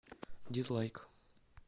дизлайк